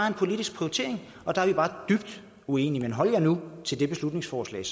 en politisk prioritering og der er vi bare dybt uenige men hold jer nu til det beslutningsforslag